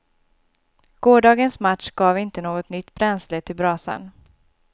Gårdagens match gav inte något nytt bränsle till brasan.